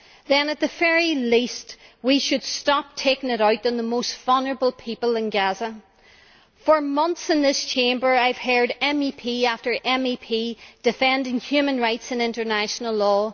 then, at the very least, we should stop taking it out on the most vulnerable people in Gaza. For months in this Chamber I have heard MEP after MEP defending human rights and international law.